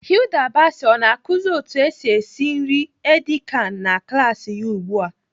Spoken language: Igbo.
Hilda Baci ọ na-akụzi otu esi esi nri edi kan na klaasị ya ugbu a?